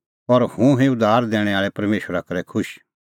और हुंह हुई उद्धार दैणैं आल़ै परमेशरा करै खुश